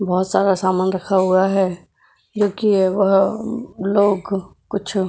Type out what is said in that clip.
बहुत सारा सामान रखा हुआ है जो कि वह लोग कुछ --